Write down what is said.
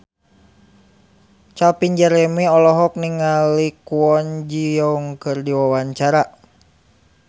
Calvin Jeremy olohok ningali Kwon Ji Yong keur diwawancara